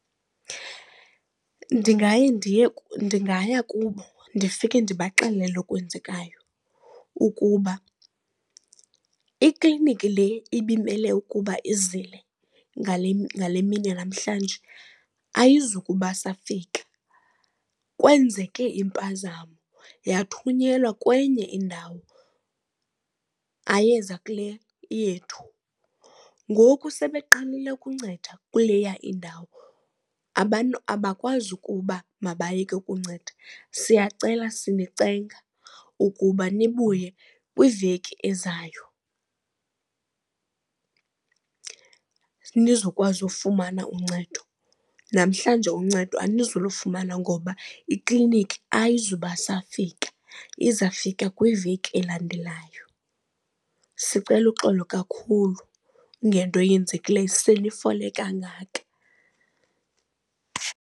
Ndingaye ndiye, ndingaya kubo ndifike ndibaxelela okwenzekayo ukuba ikliniki le ibimele ukuba izile ngale mini yanamhlanje ayizukuba safika. Kwenzeke impazamo yathunyelwa kwenye indawo, ayeza kule iyethu. Ngoku sele eqalile ukunceda kuleya indawo, abantu abakwazi ukuba mabayeke ukunceda. Siyacela sinicenga ukuba nibuye kwiveki ezayo. Anizokwazi ufumana uncedo, namhlanje uncedo anizulufumana ngoba ikliniki ayizubasafika izawufika kwiveki elandelayo. Sicela uxolo kakhulu ngento yenzekileyo senifole kangaka.